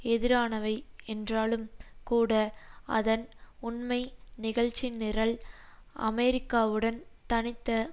எதிரானவை என்றாலும் கூட அதன் உண்மை நிகழ்ச்சிநிரல் அமெரிக்காவுடன் தனித்த